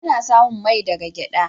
Ana samun mai daga gyada.